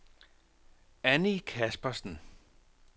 Annie Kaspersen